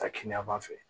Taa kiyama fɛ